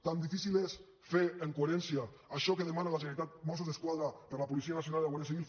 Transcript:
tan difícil és fer amb coherència això que demana la generalitat mossos d’esquadra per a la policia nacional i la guàrdia civil